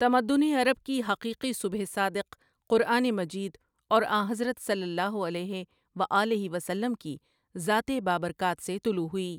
تمدن عرب کی حقیقی صبح صادق قرآن مجید اور آنحضرت صل اللہ علیہ وآلہ وسلم کی ذات بابرکات سے طلوع ہوئی ۔